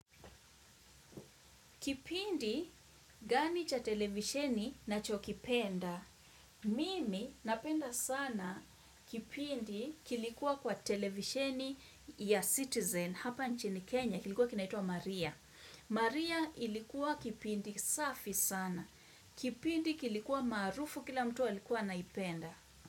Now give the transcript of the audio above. Kipindi gani cha televisheni naho kipenda? Mimi napenda sana kipindi kilikuwa kwa televisheni ya Citizen hapa nchini Kenya kilikuwa kinaitwa Maria. Maria ilikuwa kipindi safi sana. Kipindi kilikuwa maarufu kila mtu walikuwa anaipenda.